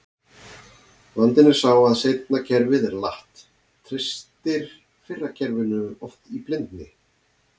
Vandinn er sá að seinna kerfið er latt, treystir fyrra kerfinu oft í blindni.